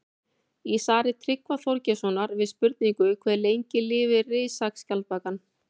Í svari Tryggva Þorgeirssonar við spurningunni Hve lengi lifir risaskjaldbakan?